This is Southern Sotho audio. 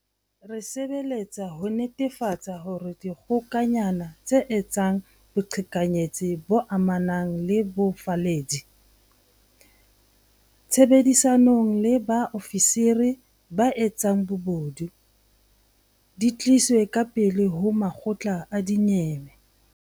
Re sebeletsa ho netefatsa hore dikgokanyana tse etsang boqhekanyetsi bo amanang le bofalledi, tshebedisanong le ba ofisiri ba etsang bobodu, di tliswe ka pele ho makgotla a dinyewe.